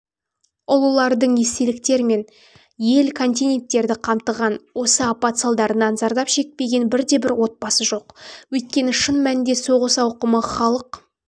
ұлылардың естеліктер және ел мен континенттерді қамтыған осы апат салдарынан зардап шекпеген бірде-бір отбасы жоқ өйткені шын мәнінде соғыс ауқымы халық